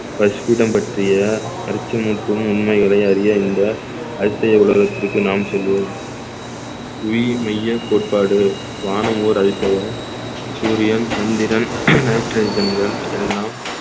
பட்டிய அச்சமூட்டும் உண்மைகளை அறிய இந்த அதிசய உலகத்திற்கு நாம் செல்வோம் உயிர் மெய்ய கோட்பாடு வானம் ஓர் அதிசயம் சூரியன் சந்திரன் nitrogen கள் எல்லாம்